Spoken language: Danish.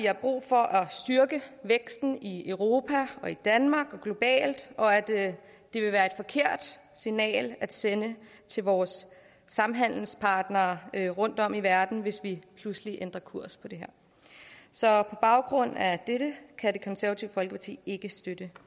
er brug for at styrke væksten i europa og i danmark og globalt og at det vil være et forkert signal at sende til vores samhandelspartnere rundtom i verden hvis vi pludselig ændrer kurs i det her så på baggrund af dette kan det konservative folkeparti ikke støtte